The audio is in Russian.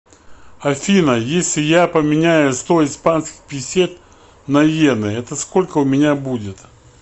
афина если я поменяю сто испанских песет на йены это сколько у меня будет